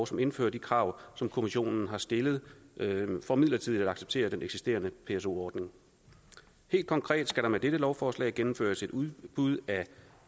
som indfører de krav som kommissionen har stillet for midlertidigt at acceptere den eksisterende pso ordning helt konkret skal der med dette lovforslag gennemføres et udbud af